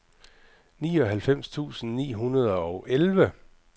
nioghalvfems tusind ni hundrede og elleve